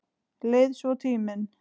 Leið svo tíminn.